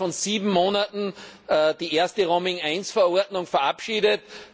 Wir haben innerhalb von sieben Monaten die Roaming I Verordnung verabschiedet.